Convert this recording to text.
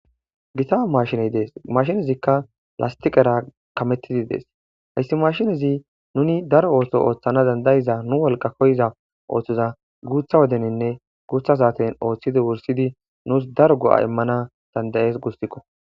gita mashiney dees mashinezikka lastiqera kametidi dees hayssi mashinezi nuni daro ooso ooththana dandayiza nu wolqa koyiza ooththoza guutha wodeninne guutha saaten ooththidi wursidi nuus daro go7a immana dandayees gustikko